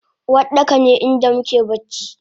Uwardaka ne inda muke bacci